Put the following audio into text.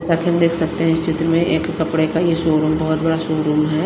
जैसा की हम देख सकते हैं इस चित्र में एक कपड़ेका ये शोरूम बहोत बड़ा शोरूम है।